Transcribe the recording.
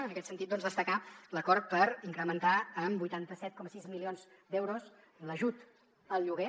en aquest sentit doncs destacar l’acord per incrementar en vuitanta set coma sis milions d’euros l’ajut al lloguer